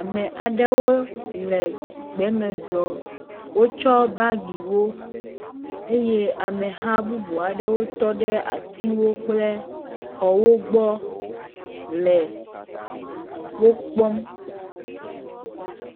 Ame aɖewo le gbe me zɔm. Wotsɔ bagiwo eye ameha bubua aɖewo wotɔ ɖe atiwo kple xɔwo gbɔ le wokpɔm.